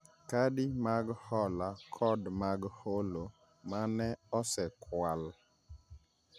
, kadi mag hola kod mag holo) ma ne osekwal